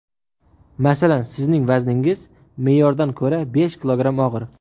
Masalan, sizning vazningiz me’yordan ko‘ra besh kilogramm og‘ir.